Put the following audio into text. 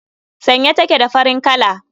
Sanye take da farin kala.